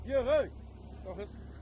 Yox, hey, qalxız.